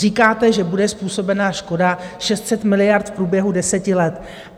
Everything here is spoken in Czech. Říkáte, že bude způsobena škoda 600 miliard v průběhu deseti let.